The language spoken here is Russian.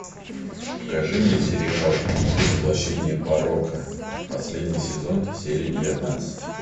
покажи мне сериал ты воплощение порока последний сезон серия девятнадцать